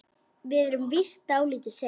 Við erum víst dálítið sein.